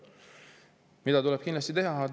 Mida tuleb kindlasti teha?